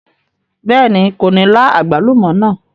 Bẹ́ẹ̀ni, kò ní lá àgbálùmọ́ náà.